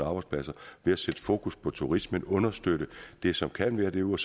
arbejdspladser ved at sætte fokus på turismen understøtte det som kan være derude og